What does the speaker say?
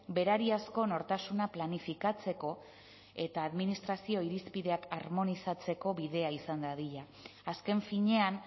berariazko nortasuna planifikatzeko eta administrazio irizpideak harmonizatzeko bidea izan dadila azken finean